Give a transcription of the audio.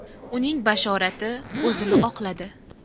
Uning bashorati o‘zini oqladi.